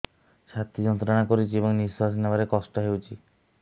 ଛାତି ଯନ୍ତ୍ରଣା କରୁଛି ଏବଂ ନିଶ୍ୱାସ ନେବାରେ କଷ୍ଟ ହେଉଛି